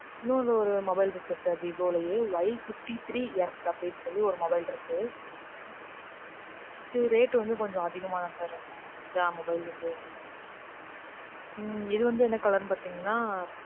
இன்னொரு mobile இருக்கு sir விவோலையே. Y fifty three S அப்படின்னு சொல்லி ஒரு mobile இருக்கு. இது rate வந்து கொஞ்சம் அதிகமா தான் sir இருக்கும் எல்லா mobile ல இருந்து. இது வந்து என்ன colour ன்னு பாத்தீங்கனா,